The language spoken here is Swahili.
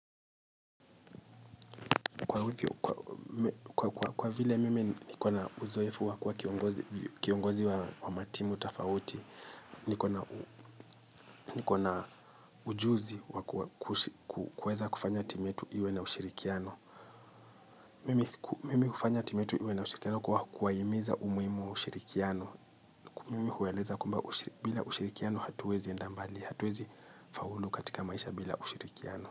Kwa vile mimi nikona uzoefu wa kuwa kiongozi wa matimu tofauti, nikona ujuzi kuweza kufanya timu yetu iwe na ushirikiano. Mimi hufanya timu yetu iwe na ushirikiano kwa kuwahimiza umuhimu wa ushirikiano. Mimi hueleza kwamba bila ushirikiano hatuwezi enda mbali, hatuwezi faulu katika maisha bila ushirikiano.